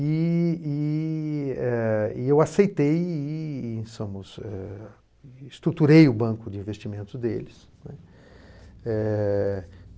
E e eh e eu aceitei e e eh estruturei o banco de investimentos deles, né. Eh